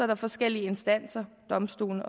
der forskellige instanser domstolene